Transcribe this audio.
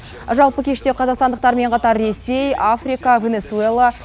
жалпы кеште қазақстандықтармен қатар ресей африка венесуэла